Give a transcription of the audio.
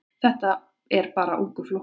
Þetta er bara ungur flokkur.